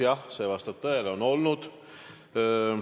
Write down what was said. Jah, see vastab tõele, on olnud.